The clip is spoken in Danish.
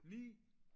9